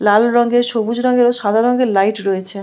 লাল রঙের সবুজ রঙের সাদা রঙের লাইট রয়েছে ।